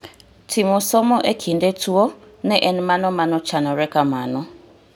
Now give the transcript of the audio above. Timo somo e kinde tuo ne en mano manochanore kamano